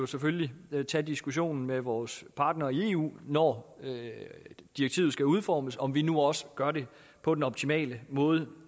selvfølgelig tage diskussionen med vores partnere i eu når direktivet skal udformes om man nu også gør det på den optimale måde